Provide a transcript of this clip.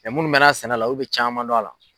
munnu mɛnna sɛnɛ la u bɛ caman dɔn a la.